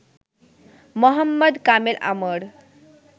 Mohammad Kamel Amr